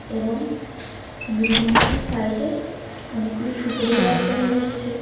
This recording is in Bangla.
এবং বিল্ডিংটির সাইডে অনেকগুলি সুপারি গাছ দেখা যাচ্ছে--